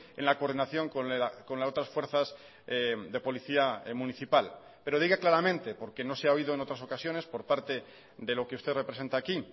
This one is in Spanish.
en la coordinación con las otras fuerzas de policía municipal pero diga claramente porque no se ha oído en otras ocasiones por parte de lo que usted representa aquí